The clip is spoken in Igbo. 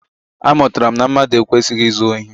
Amụtara m na mmadụ ekwesịghị izu ohi.